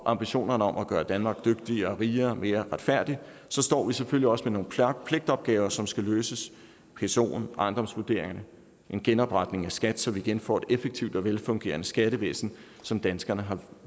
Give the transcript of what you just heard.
ambitionerne om at gøre danmark dygtigere rigere og mere retfærdigt står vi selvfølgelig også med nogle klare pligtopgaver som skal løses psoen ejendomsvurderingerne og genopretning af skat så vi igen får et effektivt og velfungerende skattevæsen som danskerne har